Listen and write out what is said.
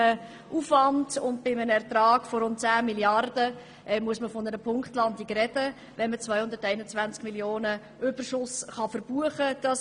Bei einem Aufwand und einem Ertrag von rund 10 Mrd. Franken muss man von einer Punktlandung sprechen, wenn man 221 Mio. Franken Überschuss verbuchen kann.